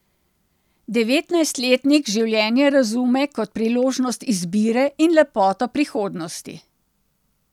Devetnajstletnik življenje razume kot priložnost izbire in lepoto prihodnosti.